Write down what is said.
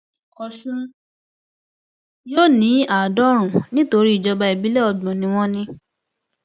ọṣùn yóò ní àádọrùnún nítorí ìjọba ìbílẹ ọgbọn ni wọn ní